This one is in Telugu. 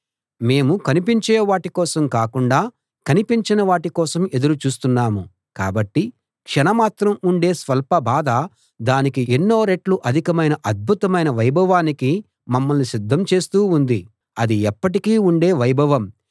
మేము కనిపించే వాటి కోసం కాకుండా కనిపించని వాటి కోసం ఎదురు చూస్తున్నాము కాబట్టి క్షణమాత్రం ఉండే స్వల్ప బాధ దానికి ఎన్నో రెట్లు అధికమైన అద్భుతమైన వైభవానికి మమ్మల్ని సిద్ధం చేస్తూ ఉంది అది ఎప్పటికీ ఉండే వైభవం